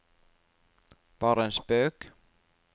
bare en spøk